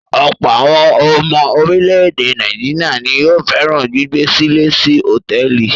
Ọ̀pọ̀ àwọn ọmọ orílẹ̀-èdè Nàìjíríà ni yóò fẹ́ràn gbígbé-sílé sí hotẹẹli.